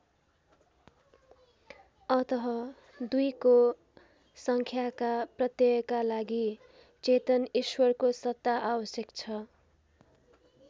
अतः दुईको सङ्ख्याका प्रत्ययका लागि चेतन ईश्वरको सत्ता आवश्यक छ।